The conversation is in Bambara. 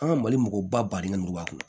An ka mali mɔgɔba badenkɛ mugu b'a kɔnɔ